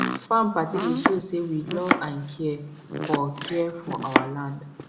farm party dey show say we love and care for care for our land